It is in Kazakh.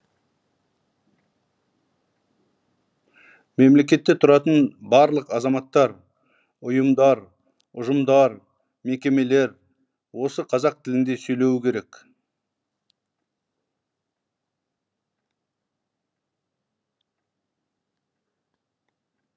мемлекетте тұратын барлық азаматтар ұйымдар ұжымдар мекемелер осы қазақ тілінде сөйлеуі керек